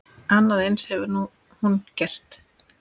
Annað eins hefur hún gert.